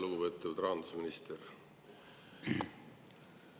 Lugupeetud rahandusminister!